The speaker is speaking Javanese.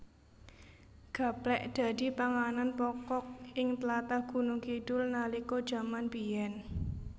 Gaplèk dadi panganan pokok ing tlatah Gunungkidul nalika jaman biyèn